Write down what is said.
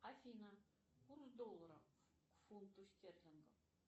афина курс доллара к фунту стерлинга